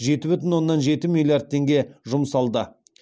жеті бүтін оннан жеті миллиард теңге жұмсалды